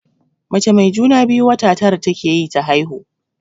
Mai juna-biyu wata tara take yi ta haihu.